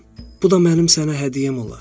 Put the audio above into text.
Bu da mənim sənə hədiyyəm olar.